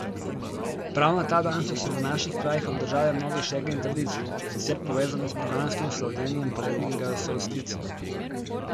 Prav na ta dan so se v naših krajih obdržale mnoge šege in tradicije, sicer povezane s poganskim slavljenjem poletnega solsticija.